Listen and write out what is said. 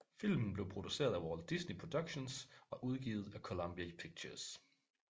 Filmen blev produceret af Walt Disney Productions og udgivet af Columbia Pictures